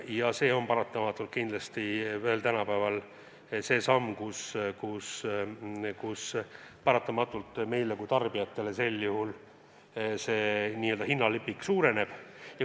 Ja paratamatult on tänapäeval tegu sammuga, mis tarbijatele tähendab n-ö hinnalipikul oleva summa suurenemist.